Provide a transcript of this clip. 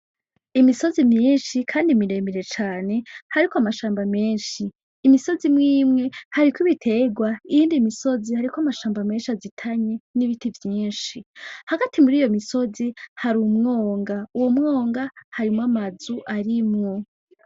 Imisozi myinshi Kandi miremire cane hariko amashamba menshi. Imisozi imwimwe hariko ibitegwa iyindi misozi hariko amashamba menshi azitanye n'biti vyinshi. Hagati muriyo misozi harumwonga uwo mwonga harimwo amazu arimwo.